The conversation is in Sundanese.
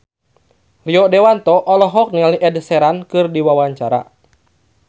Rio Dewanto olohok ningali Ed Sheeran keur diwawancara